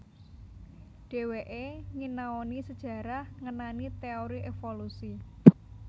Dheweke nginaoni sejarah ngenani teori evolusi